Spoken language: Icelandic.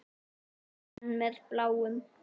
Er hún enn með Bláum?